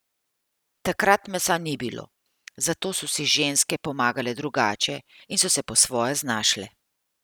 Takrat mesa ni bilo, zato so si ženske pomagale drugače in se po svoje znašle.